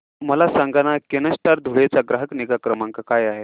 मला सांगाना केनस्टार धुळे चा ग्राहक निगा क्रमांक काय आहे